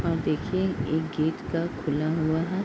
और देखिए एक गेट का खुला हुआ है।